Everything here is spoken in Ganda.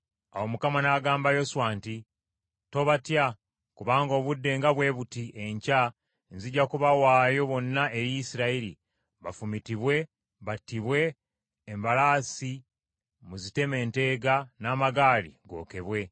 Awo Mukama n’agamba Yoswa nti, “Tobatya kubanga obudde nga bwe buti enkya nzija kubawaayo bonna eri Isirayiri, bafumitibwe, battibwe, embalaasi muziteme enteega n’amagaali gookebwe.”